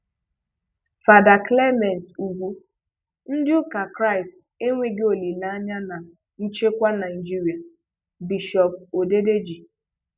Fàdà Clement Úgwú: "Ndị́ ụ́kà Krístì énweghị òlíléányá ná nchékwá Nàjïrị̀a" - Bishop Odedeji